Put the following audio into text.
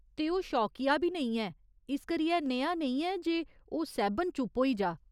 ते ओह् शौकिया बी नेईं ऐ, इस करियै नेहा नेईं ऐ जे ओह् सैह्बन चुप्प होई जा।